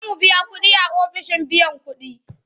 Za mu biya kuɗi a ofishin biyan kuɗi.